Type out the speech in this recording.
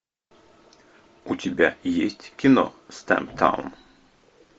у тебя есть кино стамптаун